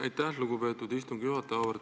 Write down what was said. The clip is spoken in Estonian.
Aitäh, lugupeetud istungi juhataja!